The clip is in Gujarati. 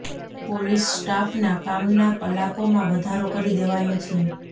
પોલીસ સ્ટાફ ના કામના કલાકોમાં વધારો કરી દેવાયો છે